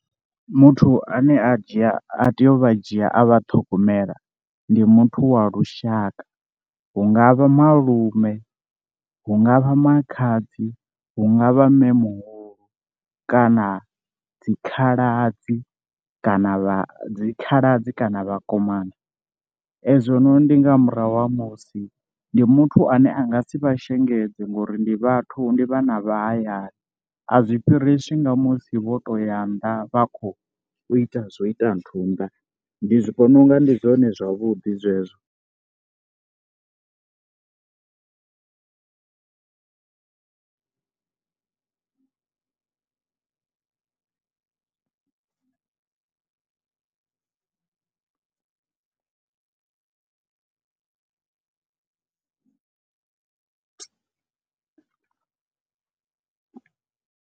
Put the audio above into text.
Muthu ane a dzhia a tea u vha dzhia a vha ṱhogomela, ndi muthu wa lushaka, hungavha malume, hungavha makhadzi, hungavha mme muhulu kana dzi khaladzi kana vha dzi khaladzi kana vhakomana, ezwo no ndi nga murahu ha musi ndi muthu ane a nga si vha shengedza ngori ndi vhathu ndi vhana vha hayani, a zwi fhiriswa nga musi vho to ya nnḓa vha khou ita zwo ita nthu nnḓa, ndi zwi vhona unga ndi zwone zwavhuḓi zwezwo.